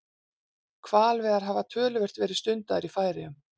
Hvalveiðar hafa töluvert verið stundaðar í Færeyjum.